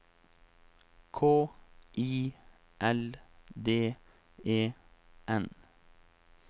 K I L D E N